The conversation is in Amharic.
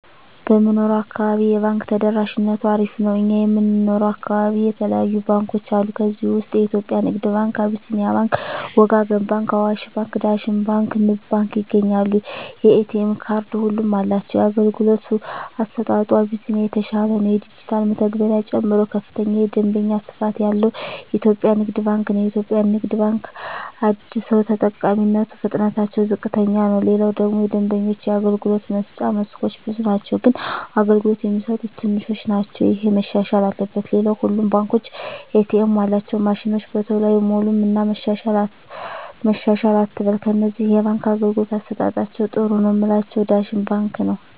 በምንኖረው አካባቢ የባንክ ተደራሽነቱ አሪፍ ነው እኛ የምንኖረው አካባቢ የተለያዩ ባንኮች አሉ ከዚህ ውስጥ የኢትዮጵያ ንግድ ባንክ አቢስኒያ ባንክ ወጋገን ባንክ አዋሽ ባንክ ዳሽን ባንክ ንብ ባንክ ይገኛሉ የኤ.ቴ ካርድ ሁሉም አላቸው የአገልግሎቱ አሰጣጡ አቢስኒያ የተሻለ ነው የዲጅታል መተግበሪያ ጨምሮ ከፍተኛ የደንበኛ ስፋት ያለው ኢትዮጵያ ንግድ ባንክ ነው የኢትዮጵያ ንግድ ባንክ አደሰው ተጠቃሚነቱ ፍጥነትታቸው ዝቅተኛ ነው ሌላው ደግሞ የደንበኞች የአገልግሎት መስጫ መስኮቶች ብዙ ናቸው ግን አገልግሎት የሚሰጡት ትንሾች ናቸው እሄ መሻሻል አለበት ሌላው ሁሉም ባንኮች ኤ. ቴኤማቸው ማሽኖች በተሎ አይሞሉም እና መሻሻል አትበል ከነዚህ የባንክ አገልግሎት አሠጣጣቸዉ ጥሩ ነው ምላቸውን ዳሽን ባንክን ነዉ